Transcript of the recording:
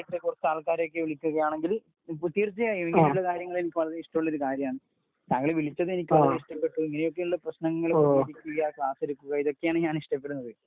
കുറച്ചു ആൾക്കാരെയൊക്കെ വിളിക്കുകയാണെങ്കില് തീർച്ചയായിട്ടും ഇങ്ങനെയുള്ള കാര്യങ്ങൾ എനിക്ക് വളരെ ഇഷ്ടമുള്ള ഒരു കാര്യമാണ്. താങ്കൾ വിളിച്ചത് എനിക്ക് വളരെ ഇഷ്ടപ്പെട്ടു. ഇങ്ങനെയൊക്കെയുള്ള പ്രശ്നങ്ങൾ ക്കെതിരെ പ്രതികരിക്കുക ക്ലാസ് എടുക്കുക ഇതൊക്കെയാണ് ഞാൻ ഇഷ്ടപ്പെടുന്നത്.